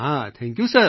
thank you sir